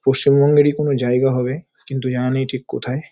পশ্চিমবঙ্গেরই কোনো জায়গা হবে। কিন্তু জানা নেই ঠিক কোথায়।